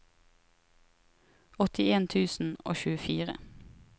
åttien tusen og tjuefire